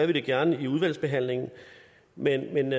vi det gerne i udvalgsbehandlingen men